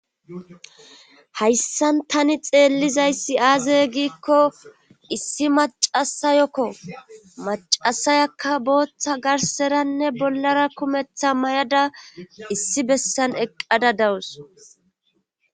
hayssan tani xeellizaysi aaze giikko issi macasayokko macasayakka booththa garseranne bollara kumetha may7ada issi bessan eqqada dawus